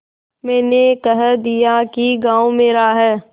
मैंने कह दिया कि गॉँव मेरा है